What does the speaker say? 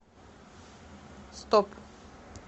стоп